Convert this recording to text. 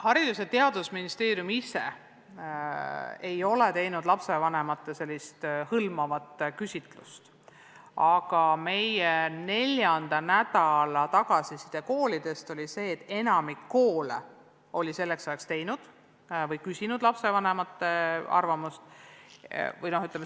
Haridus- ja Teadusministeerium ise ei ole laiaulatuslikku lapsevanemate küsitlust teinud, aga neljandal nädalal koolidelt saadud tagasiside oli selline, et enamik koole oli selleks ajaks lapsevanemate arvamust küsinud.